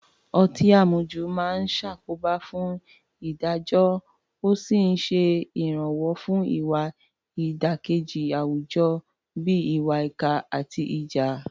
Ọtí àmujù máa ń ṣàkóbá fún ìdájọ́ ó sì ń ṣe ìrànwọ́ fún ìwà ìdàkejì àwùjọ bíi ìwà ìkà àti ìjà.